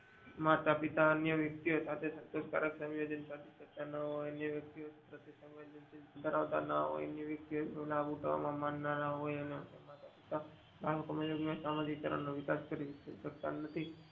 માતાપિતા અન્ય વિક્શ સાથે સંતોષ કારક શક્યતા ના હોય અન્ય વેકતી સાથે સહન શીલ ધરાવતા ન હોય બેસવા ઉઠવામાં મન ના હોય સામાજિક કારણો નો વિકાસ કરી સકતા નથી.